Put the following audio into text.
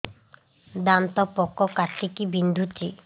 ଦାନ୍ତ ପୋକ କାଟିକି ବିନ୍ଧୁଛି